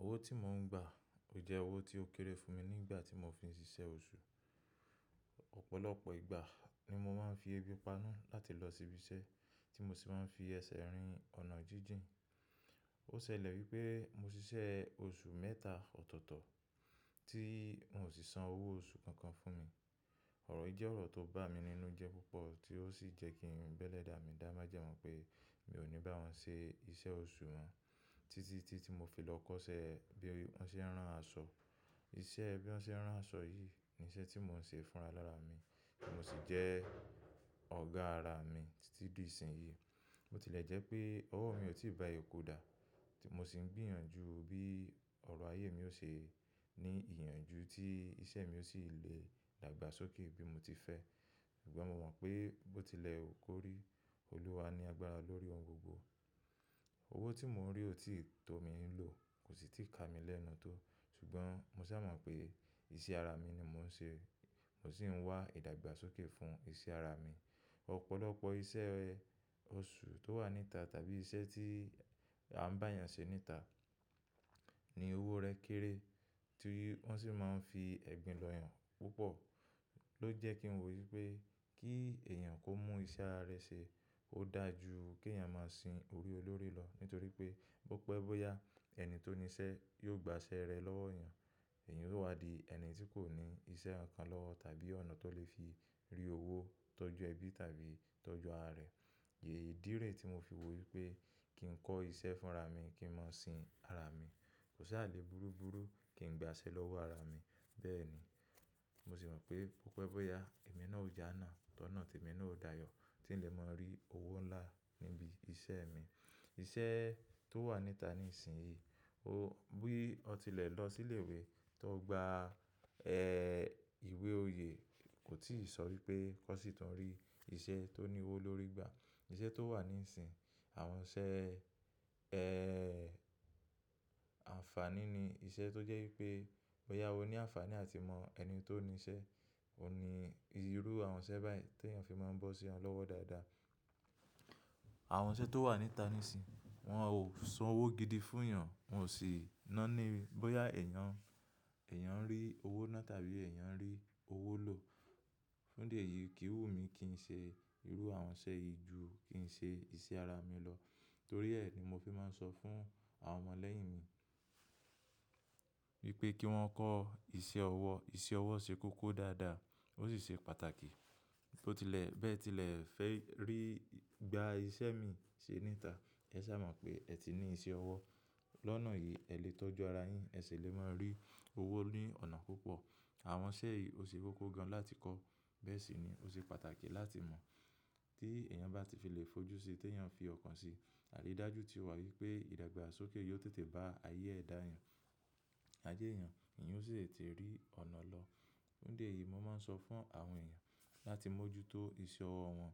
Owó tí mò ń gbà jẹ owó tí ó kéré fún mi nígbà tí mò fi ń ṣiṣẹ́ oṣù. Ọ̀pọ̀lọpọ̀ ìgbà ni mò máa ń fi ẹbi paná láti lọ síbi iṣẹ́ tí mo sì máa ń fi ẹsẹ̀ rìn ọ̀nà jíjìn. Ó ṣẹlẹ̀ wípé mo ṣiṣẹ́ oṣù mẹ́ta ọ̀tọ̀ọ̀tọ̀ tí wón sì san owó oṣù kankan fún mi. Ọ̀rọ̀ yìí jẹ́ ọ̀rọ̀ tó bà mí nínú jẹ púpọ̀ tí ó sì jẹ́ kí irun bẹ́lẹ̀ dà mí dáa. Má jẹ mọ pé mi ò ní bá wọn ṣe iṣẹ́ oṣù wọn títí tí ti mo fi lọ kọ́ṣẹ́ bí wọ́n ṣe ń rán aṣọ. Iṣẹ́ ẹbí wọ́n ṣe ń rán aṣọ yìí ni iṣẹ́ tí mò ń ṣe fún ara lára mi tí mò sì jẹ́ ọ̀gá ara mi títí di ìsìn yìí. Mo tilẹ̀ jẹ́ pé owó mi ò tí ì bá eyinkù dà tí mò sì ń gbìyànjú bí ọrọ̀ ayé mi ó ṣe ní ìyànjú tí iṣẹ́ mi ó sì lè dàgbàsókè bí mo ti fẹ́. Ṣùgbọ́n mo mọ̀ pé bó tilẹ̀ hú kò rí, Olúwa ni agbára lórí ohun gbogbo. Owó tí mò ń rí ò tí ì tó mi ń lò, kò sì ti ka mi lẹ́nu tó. Ṣùgbọ́n mo sá mọ̀ pé iṣẹ́ ara mi ni mò ń ṣe, mò sì ń wá ìdàgbàsókè fún iṣẹ́ ara mi. Ọ̀pọ̀lọpọ̀ iṣẹ́ oṣù tó wà níta tàbí iṣẹ́ tí a ń bá èèyàn ṣe níta ní owó rẹ̀ kéré tí wọ́n sì máa ń fi ẹ̀gbin lọ́ yàn púpọ̀ ló jẹ́ kí n wò wípé kí èèyàn kó mú iṣẹ́ ara rẹ̀ ṣe ó dà jú kí èèyàn máa sin orí olórí lọ nítorí pé bó pẹ́ bó yá ẹni tó ní iṣẹ́ yóò gba ṣẹ rẹ̀ lọ́wọ́ èèyàn. Èèyàn yóò wa di ẹni tí kò ní iṣẹ́ ọ̀kan lọ́wọ́ tàbí ọ̀nà tó lè fi rí owó tọ́jú ẹbí tàbí tọ́jú ara rẹ̀. Iidí rẹ̀ tí mo fi wò wípé kí n kọ́ iṣẹ́ fúnra mi kí n máa sin ara mi. Kò sí àlé burúburú kí n gba ṣẹ lọ́wọ́ ara mi. Bẹ́ẹ̀ ni mò sì mọ̀ pé bó pẹ́ bó yá ẹ̀mí náà ó jà náà tọ́nà ti ẹ̀mí náà ó dayọ̀ tí n lè máa rí owó ńlá níbi iṣẹ́ mi. Iṣẹ́ tó wà níta ní ìsìn yìí, bí ọ tilẹ̀ lọ sí ilé ìwé tó gba ẹ ìwé oyè kò tíì ṣọ̀rí pé kọ́ sì tún rí iṣẹ́ tó ní owó lórí gbà. Iṣẹ́ tó wà ní ìsìn àwọn iṣẹ́ ẹ àǹfàní ni iṣẹ́ tó jẹ́ wípé bó yá owó ní àǹfàní à ti mọ ẹni tó ní iṣẹ́. Ó ní irú àwọn iṣẹ́ báyìí tí èèyàn fi máa ń bọ́ sí wọn lọ́wọ́ dáadáa. Àwọn iṣẹ́ tó wà níta níìsín, wọ́n ò san owó gidi fún èèyàn, wọ́n ò sì ná ni bóyá èèyàn, èèyàn ń rí owó náà tàbí èèyàn ń rí owó lò. Fún dí e yìí kì í wù mí kí n ṣe irú àwọn iṣẹ́ yìí ju kí n ṣe iṣẹ́ ara mi lọ. Nítorí ẹ̀ ni mo fi máa ń sọ fún àwọn ọmọ lẹ́yìn mi wípé kí wọ́n kọ́ iṣẹ́ ọwọ́. Iṣẹ́ ọwọ́ ṣe kókó dáadáa ó sì ṣe pàtàkì. Tó tilẹ̀ bẹ́ẹ̀ tilẹ̀ fẹ́ rí gba iṣẹ́ mi ṣe níta, ẹ sá mọ̀ pé ẹ ti ní iṣẹ́ ọwọ́. Lọ́nà yìí ẹ lè tọ́jú ara yín, ẹ sì lè máa rí owó ní ọ̀nà púpọ̀. Àwọn iṣẹ́ yìí ó ṣe kókó gan láti kọ́, bẹ́ẹ̀ sì ni ó ṣe pàtàkì láti mọ̀. Tí èèyàn bá ti fi lè fojú síi tí èèyàn fi ọkàn sìí, àri dájú tí ó wà wípé ìdàgbàsókè yóò tètè bá ayé ẹ̀ dà yàn. Ajé èèyàn, èèyàn ó sì lè tí rí ọ̀nà lọ. Fún díẹ̀ yìí mo máa ń sọ fún àwọn èèyàn láti mójútó iṣẹ́ ọwọ́ wọn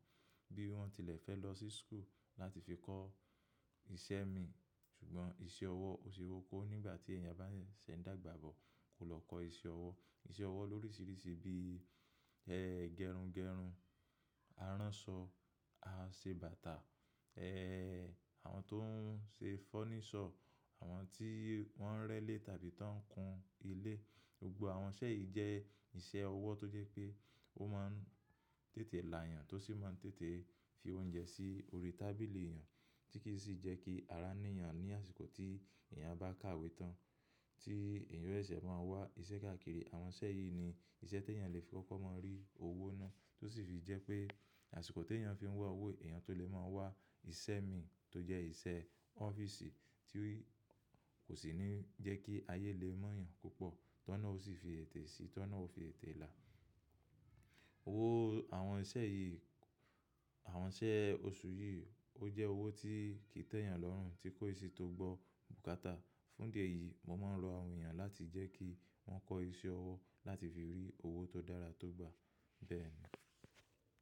bí wọ́n tilẹ̀ fẹ́ lọ sí school láti fi kọ́ iṣẹ́ mi. Ṣùgbọ́n iṣẹ́ ọwọ́ ó ṣe kókó nígbà tí èèyàn bá sẹ̀ ń dàgbà bọ̀ kò lọ kọ́ iṣẹ́ ọwọ́. Iṣẹ́ ọwọ́ lóríṣiríṣi bí ẹ́ gẹrungẹrun, aránṣọ, aṣebàtà, ẹ́ àwọn tó ń ṣe fọ́nísọ̀, àwọn tí wọ́n ń rẹ́lé tàbí tó ń kun ilé. Gbogbo àwọn iṣẹ́ yìí jẹ́ iṣẹ́ ọwọ́ tó jẹ́ pé ó máa ń tètè la èèyàn tó sì máa ń tètè fi oúnjẹ sí orí tábìlì èèyàn tí kì í sì jẹ́ kí ara ní èèyàn ní àsìkò tí èèyàn bá káwé tán tí èèyàn rẹ́lẹ̀ máa wá iṣẹ́ káàkiri. Àwọn iṣẹ́ yìí ni iṣẹ́ tí èèyàn lè fi kọ́kọ́ máa rí owó náà tó sì fi jẹ́ pé àsìkò tí èèyàn fi ń wá owó èèyàn tó lè máa wá iṣẹ́ mi tó jẹ́ iṣẹ́ ọ́fíìsì tí kò sì ní jẹ́ kí ayé lè mọ̀ èèyàn púpọ̀ tọ́nà ó sì fi ètè si, tọ́nà ó fi ètè là. Owó àwọn iṣẹ́ yìí, àwọn iṣẹ́ oṣù yìí ó jẹ́ owó tí kì í tẹ́ èèyàn lọ́rùn, tí kò ì sì tó gbó bùkátà. Fún díẹ̀ yìí mo máa ń rọ àwọn èèyàn láti jẹ́ kí wọ́n kọ́ iṣẹ́ ọwọ́ láti fi rí owó tó dára tó gbà. Bẹ́ẹ̀ ni.